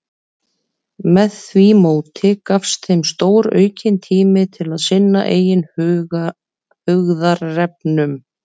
Með því móti gafst þeim stóraukinn tími til að sinna eigin hugðarefnum.